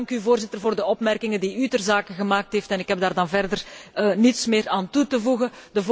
Ik dank u, voorzitter, voor de opmerkingen die u ter zake gemaakt heeft en ik heb daar dan verder niets meer aan toe te voegen.